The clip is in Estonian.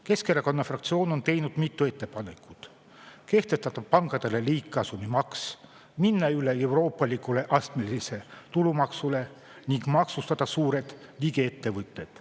Keskerakonna fraktsioon on teinud mitu ettepanekut: kehtestada pankadele liigkasumimaks, minna üle euroopalikule astmelisele tulumaksule ning maksustada suured digiettevõtted.